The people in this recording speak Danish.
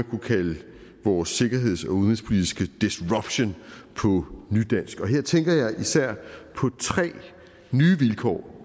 kunne kalde vores sikkerheds og udenrigspolitiske disruption og her tænker jeg især på tre nye vilkår